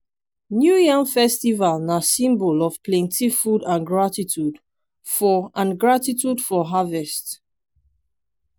new yam festival na symbol of plenty food and gratitude for and gratitude for harvest.